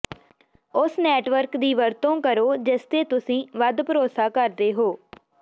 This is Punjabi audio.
ਉਸ ਨੈਟਵਰਕ ਦੀ ਵਰਤੋਂ ਕਰੋ ਜਿਸਤੇ ਤੁਸੀਂ ਵੱਧ ਭਰੋਸਾ ਕਰਦੇ ਹੋ